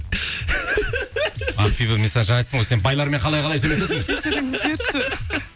ақбибі мен саған жаңа айттым ғой сен байлармен қалай қалай сөйлесесің кешіріңіздерші